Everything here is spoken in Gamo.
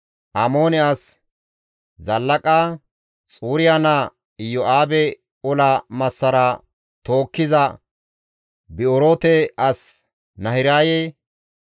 Amoone as Zallaqa, Xuriya naa Iyo7aabe ola massara tookkiza Bi7oroote as Nahiraye,